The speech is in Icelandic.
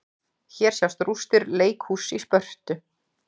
Hér sjást rústir leikhúss í Spörtu.